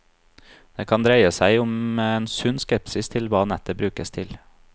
Det kan dreie seg om en sunn skepsis til hva nettet brukes til.